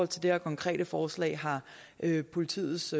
til det her konkrete forslag har politiets